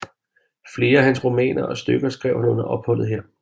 Flere af hans romaner og stykker skrev han under opholdet her